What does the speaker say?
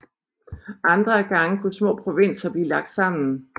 Andre gange kunne små provinser blive lagt sammen